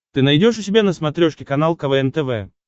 ты найдешь у себя на смотрешке канал квн тв